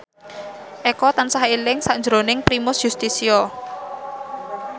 Eko tansah eling sakjroning Primus Yustisio